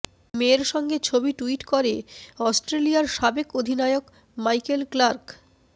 মেয়ের সঙ্গে ছবি টুইট করে অস্ট্রেলিয়ার সাবেক অধিনায়ক মাইকেল ক্লার্ক